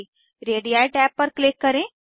ready tab पर click करें